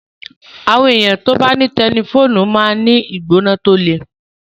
Àwọn ènìyàn tí ó bá ní táífọ̀ọdu máa ń ní ìgbóná tí ó le